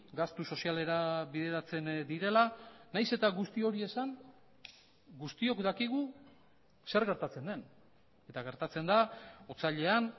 gastu sozialera bideratzen direla nahiz eta guzti hori esan guztiok dakigu zer gertatzen den eta gertatzen da otsailean